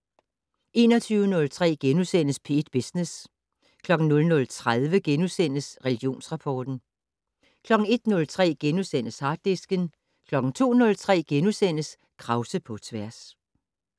21:03: P1 Business * 00:30: Religionsrapport * 01:03: Harddisken * 02:03: Krause på tværs *